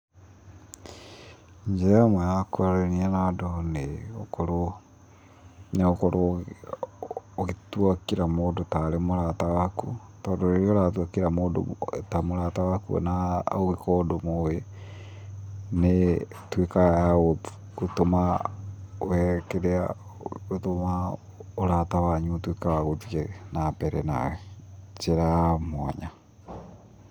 Njĩra ĩmwe ya kwaranĩria na andũ nĩ gũkorwo, nĩ ũkorwo ũgĩtua kila mũndũ tarĩ mũrata waku, tondũ rĩrĩa ũratua kila mũndũ ta mũrata waku ona ũngĩkorwo ndũmũĩ, nĩ ĩtuĩkaga ya gũtũma ũ kĩrĩa ũthũ wao, ũrata wanyu ũtuĩke wa guthiĩ na mbere na njĩra ya mwanya.